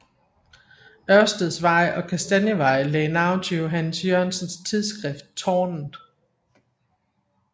Ørsteds Vej og Kastanievej lagde navn til Johannes Jørgensens tidsskrift Tårnet